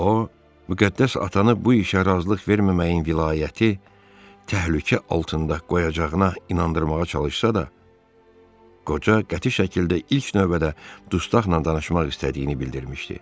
O, müqəddəs atanı bu işə razılıq verməməyin vilayəti təhlükə altında qoyacağına inandırmağa çalışsa da, qoca qəti şəkildə ilk növbədə dustaqla danışmaq istədiyini bildirmişdi.